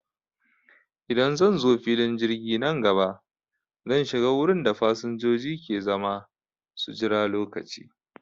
Idan zanzo filin jirgi nan gaba, zan shiga wurin da fasanjoji ke zama su jira lokaci